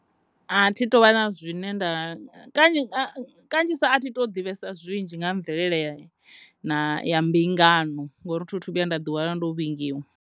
A thi tovha na zwine nda nga kanzhi, kanzhisa a thi to ḓivhesa zwinzhi nga ha mvelele ya mbingano ngauri thi thu vhuya nda ḓi wana ndo vhingiwa.